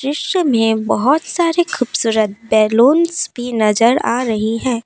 दृश्य मे बहुत सारे खूबसूरत बैलून भी नजर आ रही है।